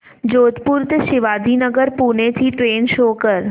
जोधपुर ते शिवाजीनगर पुणे ची train show कर